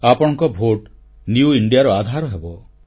ଆପଣଙ୍କ vote new ଇଣ୍ଡିଆର ଆଧାର ହେବ